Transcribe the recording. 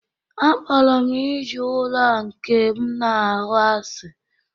Akpọrọ m ijiji ụlọ a nke m na-ahụ asị